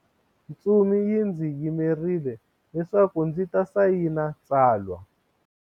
Ntsumi yi ndzi yimerile leswaku ndzi ta sayina tsalwa.